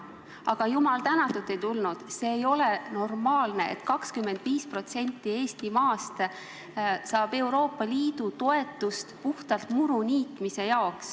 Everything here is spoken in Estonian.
Aga jumal tänatud, et ei tulnud, sest ei ole normaalne, kui 25% Eesti maast saab Euroopa Liidu toetust puhtalt muruniitmise jaoks.